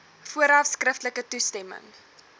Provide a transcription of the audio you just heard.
vooraf skriftelik toestemming